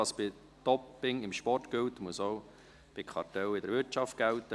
«Was bei Doping im Sport gilt, muss auch bei Kartellen in der Wirtschaft gelten: